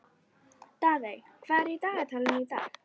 Daðey, hvað er í dagatalinu í dag?